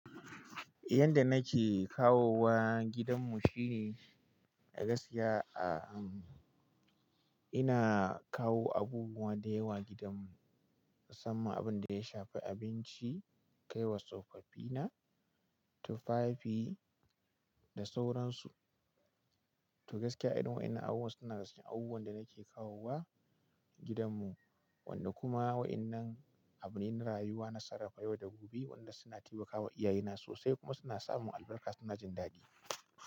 Yanda nake kawowa gidan mu shine, gaskiya a, ina kawo abubuwa dayawa gidan mu, musamman abunda ya shafi abinci, kaiwa tsofaffi na, tufafi da sauransu. To gaskiya irin wa'yannan abubuwa suna cikin abubuwan da nake kawowa gidan mu. Wanda kuma wa'yannan abune na rayuwa, na sarafa yau da gobe, waɗanda suna taimakawa iyaye na sosai kuma suna sa mun albarka suna jin daɗi.